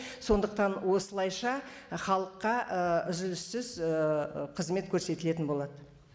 сондықтан осылайша халыққа ііі үзіліссіз ііі қызмет көрсетілетін болады